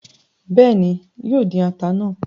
Béèni, yóò dín ata náà